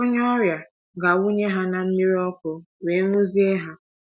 Onye ọrịa ga - awụnye ha ná mmiri ọkụ wee ṅwụzie ha.